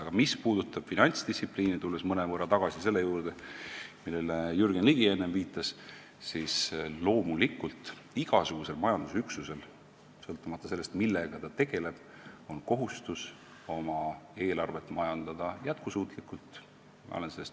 Aga mis puudutab finantsdistsipliini – tulen mõnevõrra tagasi selle juurde, millele Jürgen Ligi enne viitas –, siis loomulikult on igasugusel majandusüksusel, sõltumata sellest, millega ta tegeleb, kohustus oma eelarvet jätkusuutlikult majandada.